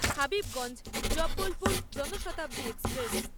Habibganj Jabalpur Janshatabdi express